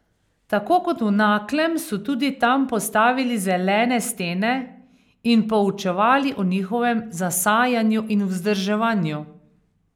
Tako kot v Naklem so tudi tam postavili zelene stene in poučevali o njihovem zasajanju in vzdrževanju.